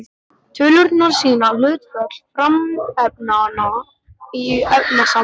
Tölurnar sýna hlutföll frumefnanna í efnasambandinu.